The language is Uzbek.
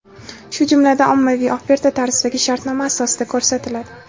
shu jumladan ommaviy oferta tarzidagi shartnoma asosida ko‘rsatiladi.